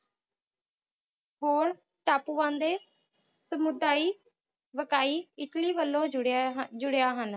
ਹੋਰ ਟਾਪੂ ਵਾਂਦੇ ਸਮੁਦਾਇ ਵਟਾਈ ਇੱਟਲੀ ਵਲੋਂ ਜੁੜੇ ਜੁੜਿਆ ਹਨ